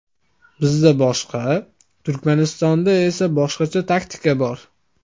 Bizda boshqa, Turkmanistonda esa boshqacha taktika bor.